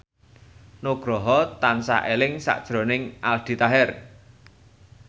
Nugroho tansah eling sakjroning Aldi Taher